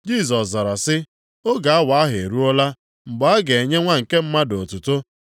Jisọs zara sị, “Oge awa ahụ eruola mgbe a ga-enye Nwa nke Mmadụ otuto.